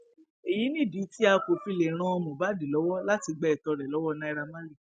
èyí nìdí tí a kò fi lè ran mohbad lọwọ láti gba ètò rẹ lọwọ naira marley